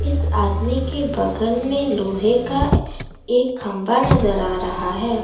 इस आदमी के बगल में लोहे का एक खंभा नजर आ रहा है।